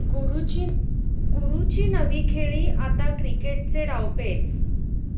गुरूची नवी खेळी, आता क्रिकेटचे डावपेच!